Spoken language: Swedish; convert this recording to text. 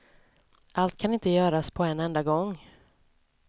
Allt kan inte göras på en enda gång.